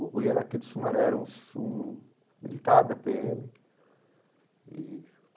O Rui era aqui de Sumaré, era um um militar da Pê Eme e.